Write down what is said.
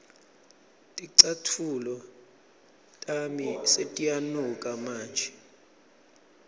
ticatfulo tami setiyanuka manje